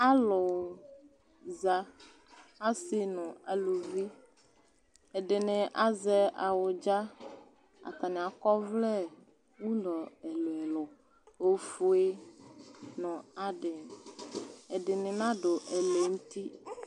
Alu za, aasi nʋ aaluvi, ɛɖini azɛ awudza, atani akɔ ɔvlɛ ʋlɔ ɛluɛlu, ofue, nʋ adi, ɛɖini naɖʋ ɛlɛ nʋ uti